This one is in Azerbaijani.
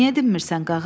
Niyə dinmirsən, Qağa?